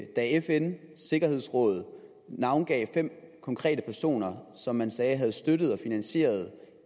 da fns sikkerhedsråd navngav de fem konkrete personer som man sagde havde støttet og finansieret